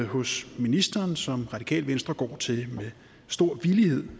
hos ministeren som radikale venstre går til med stor villighed